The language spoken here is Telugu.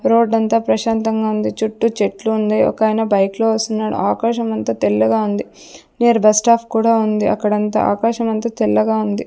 రోడ్డు అంతా ప్రశాంతంగా ఉంది. చుట్టూ చెట్లు ఉంది ఒకాయన బైక్ లో వస్తున్నాడు ఆకాశం అంత తెల్లగా ఉంది. బస్ స్టాప్ కూడా ఉంది. అక్కడ అంత ఆకాశం అంత తెల్లగా ఉంది.